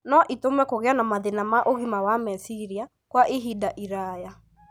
no itũme kũgĩe na mathĩna ma ũgima wa meciria kwa ihinda iraya.